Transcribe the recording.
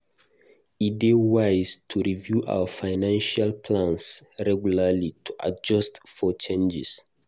E dey wise to review our financial plans regularly to adjust for changes.